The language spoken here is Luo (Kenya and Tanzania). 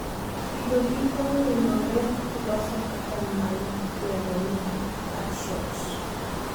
Kido gi onginore to loso patan maidendo ni "birdshot